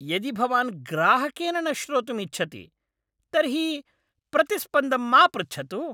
यदि भवान् ग्राहकेन न श्रोतुम् इच्छति तर्हि प्रतिस्पन्दं मा पृच्छतु।